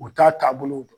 U t'a taabolo dɔn